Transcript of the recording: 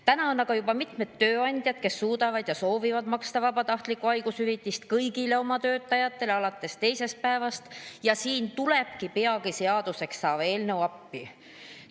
Täna on aga juba mitmeid tööandjaid, kes suudavad ja soovivad maksta vabatahtlikku haigushüvitist kõigile oma töötajatele alates teisest päevast ja siin tulebki peagi seaduseks saav eelnõu appi.